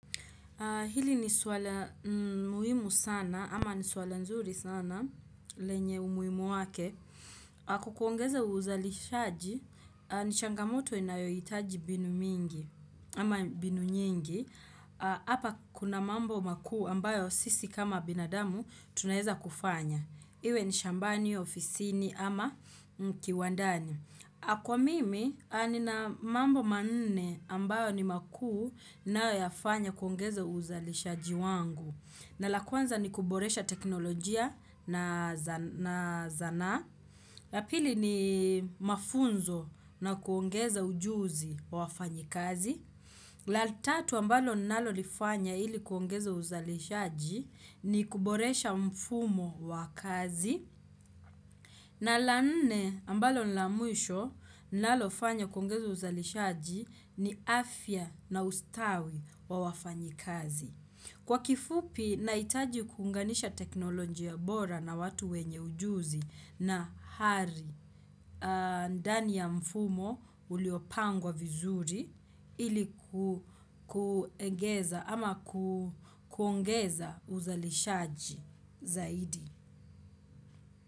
Hili nisuala muhimu sana ama nisuala nzuri sana lenye umuhimu wake. Kukuongeza uza lishaji, nishangamoto inayoitaji binu mingi ama binu nyingi. Hapa kuna mambo makuu ambayo sisi kama binadamu tunaeza kufanya. Iwe nishambani, ofisini ama mkiwandani. Kwa mimi, anina mambo manne ambayo ni makuu nayoyafanya kuongeza uzalishaji wangu. Na lakwanza ni kuboresha teknolojia na zana. La pili ni mafunzo na kuongeza ujuzi wa wafanyi kazi. La tatu ambalo nalolifanya ili kuongeza uzalishaji ni kuboresha mfumo wa kazi. Na lanne ambalo nilamwisho nalofanya kuongeza uzalishaji ni afya na ustawi wa wafanyi kazi. Kwa kifupi, naitaji kunganisha teknoloji ya bora na watu wenye ujuzi na hari. Ndani ya mfumo uliopangwa vizuri iliku kuegeza ama kuongeza uzalishaji zaidi.